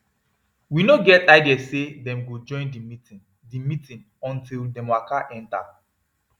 we no get idea say dem go join the meeting the meeting until dem waka enter